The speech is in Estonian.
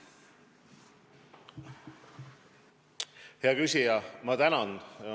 Hea küsija, ma tänan!